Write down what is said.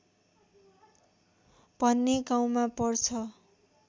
भन्ने गाउँमा पर्छ